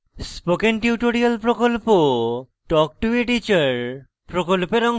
spoken tutorial talk to a teacher প্রকল্পের অংশবিশেষ